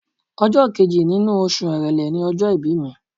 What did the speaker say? Ọjọ́ kejì nínú oṣù Èrèlé ni ọjọ́ ìbí mi.